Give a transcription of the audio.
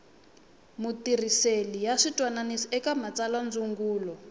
matirhisele ya switwananisi eka matsalwandzungulo